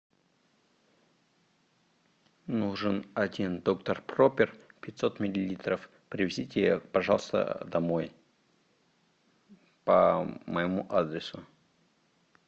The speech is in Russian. нужен один доктор пропер пятьсот миллилитров привезите пожалуйста домой по моему адресу